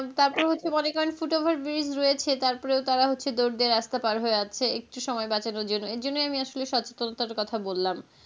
তারপরে হচ্ছে মনে করেন footover bridge রয়েছে তারপরেও তাঁরা হচ্ছে দৌড় দিয়ে রাস্তা পার হয়ে যাচ্ছে একটু সময় বাঁচানোর জন্য এই জন্যই আমি আসলে সচেতনতার কথা বললাম।